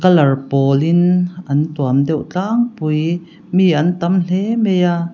color pawlin an tuam deuh tlangpui mi an tam hle mai a--